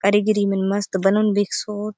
कारीगिरी मन मस्त बनाऊन बिकसोत।